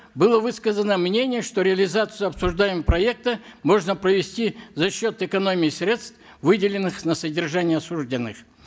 было высказано мнение что реализацию обсуждаемого проекта можно провести за счет экономии средств выделенных на содержание осужденных